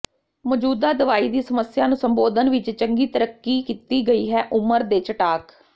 ਮੌਜੂਦਾ ਦਵਾਈ ਦੀ ਸਮੱਸਿਆ ਨੂੰ ਸੰਬੋਧਨ ਵਿਚ ਚੰਗੀ ਤਰੱਕੀ ਕੀਤੀ ਗਈ ਹੈ ਉਮਰ ਦੇ ਚਟਾਕ